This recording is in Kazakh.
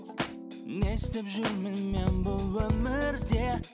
не істеп жүрмін мен бұл өмірде